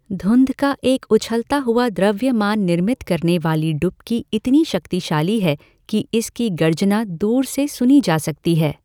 धुंध का एक उछलता हुआ द्रव्यमान निर्मित करने वाली डुबकी इतनी शक्तिशाली है कि इसकी गर्जना दूर से सुनी जा सकती है।